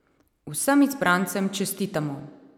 Vsem izbrancem čestitamo!